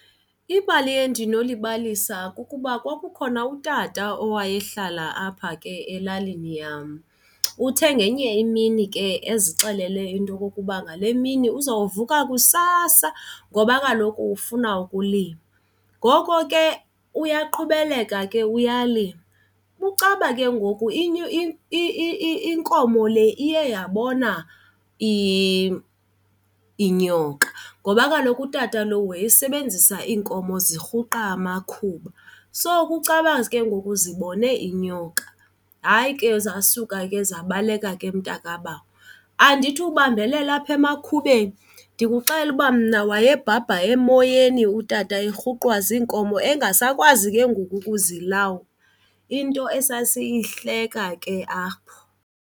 Ibali endinolibalisa kukuba kwakukhona utata owayehlala apha ke elalini yam. Uthe ngenye imini ke ezixelela into okokuba ngale mini uzawuvuka kusasa ngoba kaloku ufuna ukulima. Ngoko ke uyaqhubeleka ke uyalima, kucaba ke ngoku inkomo le iye yabona inyoka ngoba kaloku utata lo wayesebenzisa iinkomo zirhuqa amakhuba, so kucaba ke ngoku zibone inyoka. Hayi ke, zasuka ke zabaleka ke mntakabawo. Andithi ubambelele apha emakhumeni, ndikuxelela uba mna wayebhabha emoyeni utata erhuqwa ziinkomo engasakwazi ke ngoku ukuzilawula. Into esasiyihleka ke apho!